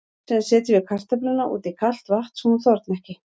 Síðan setjum við kartöfluna út í kalt vatn svo hún þorni ekki.